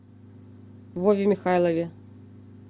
вове михайлове